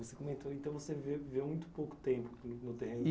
Você comentou, então você viveu muito pouco tempo no terreno. Isso.